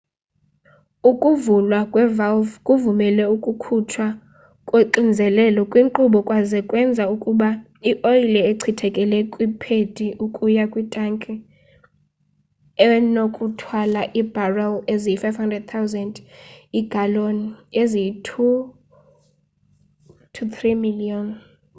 ukuvulwa kwe-valve kuvumele ukukhutshwa koxinzelelo kwinkqubo kwaze kwenza ukuba ioyile echithekele kwiphedi ukuya kwitanki enokuthwala iibharel eziyi-55 000 iigaloni eziyi-2,3 miliyoni